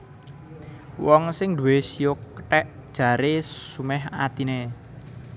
Wong sing nduwé shio kethèk jaré sumèh atiné